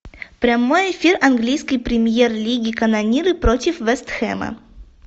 прямой эфир английской премьер лиги канониры против вест хэма